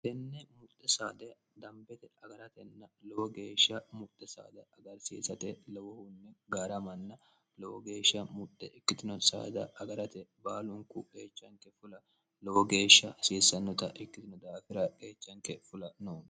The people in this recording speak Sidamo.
tenne muxxe saade dambete agaratenna lowo geeshsha muxxe saada agarsiisate lowohunni gaara manna lowo geeshsha muxxhe ikkitino saada agarate baalunku geechanke fula lowo geeshsha hasiissannota ikkitino daafira geechanke fula no